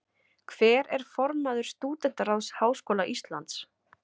Hver er formaður Stúdentaráðs Háskóla Íslands?